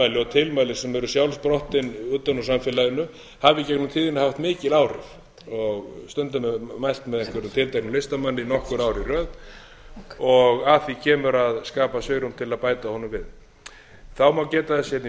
tilmæli sem eru sjálfsprottin utan úr samfélaginu hafa í gegnum tíðina haft mikil áhrif stundum er mælt með einhverjum tilteknum listamanni nokkur ár í röð að því kemur að skapa svigrúm til að bæta honum við þá má geta þess hérna í